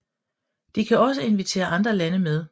De kan også invitere andre lande med